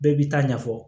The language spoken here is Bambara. Bɛɛ b'i ta ɲɛfɔ